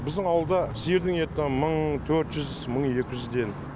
біздің ауылда сиырдың еті мың төрт жүз мың екі жүзден